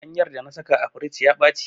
Ganyar da na saka a firij ya ɓaci.